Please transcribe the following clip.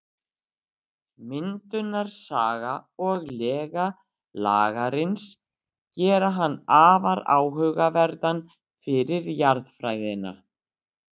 Myndunarsaga og lega Lagarins gera hann afar áhugaverðan fyrir jarðfræðina.